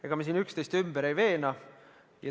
Ega me siin üksteist ümber ei veena.